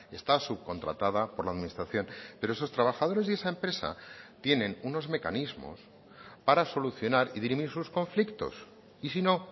está subcontratada por la administración pero esos trabajadores y esa empresa tienen unos mecanismos para solucionar y dirimir sus conflictos y si no